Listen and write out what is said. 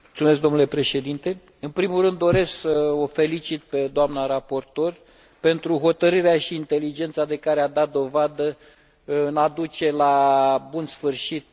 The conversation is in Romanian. În primul rând, doresc să o felicit pe doamna raportor pentru hotărârea și inteligența de care a dat dovadă în a duce la bun sfârșit acest raport.